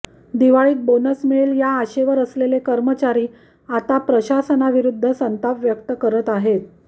दिवाळीत बोनस मिळेल या आशेवर असलेला कर्मचारी आता प्रशासनाविरुद्ध संताप व्यक्त करत आहे